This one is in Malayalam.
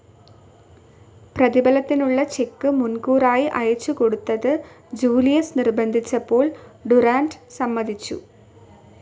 പ്രതിഫലത്തിനുള്ള ചെക്ക്‌ മുൻകൂറായി അയച്ചുകൊടുത്ത് ജൂലിയസ് നിർബ്ബന്ധിച്ചപ്പോൾ ഡുറാന്റ് സമ്മതിച്ചു.